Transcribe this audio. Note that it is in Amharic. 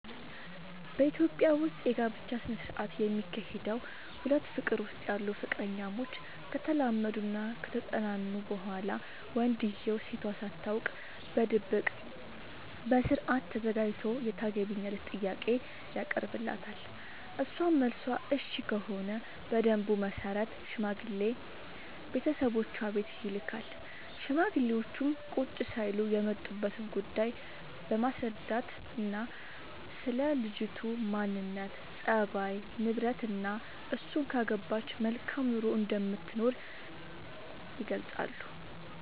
በኢትዮጵያ ዉስጥ የጋብቻ ስነ ስርዓት የሚካሄደዉ ሁለት ፍቅር ዉስጥ ያሉ ፍቅረኛሞች ከተላመዱናከተጠናኑ በኋላ ወንድዬው ሴቷ ሳታውቅ በድብቅ በስርአት ተዘጋጅቶ የታገቢኛለሽ ጥያቄ ያቀርብላታል እሷም መልሷ እሽ ከሆነ በደንቡ መሰረት ሽማግሌ ቤተሰቦቿ ቤት ይልካል ሽማግሌዎቹም ቁጭ ሳይሉ የመጡበትን ጉዳይ በማስረዳትናስለ ልጅቱ ማንነት፣ ፀባይ፤ ንብረትናእሱን ካገባች መልካም ኑሮ እንደምትኖር ይገልጻሉ።